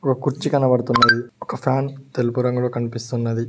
ఒక కుర్చీ కనపడ్తున్నది ఒక ఫ్యాన్ తెలుపు రంగులో కనిపిస్తున్నది.